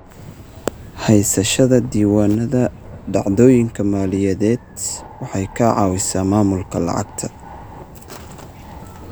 Haysashada diiwaannada dhacdooyinka maaliyadeed waxay ka caawisaa maamulka lacagta.